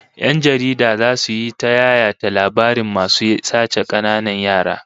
Yan jaridu zasu yi ta yayata labarin masu sace kananan yara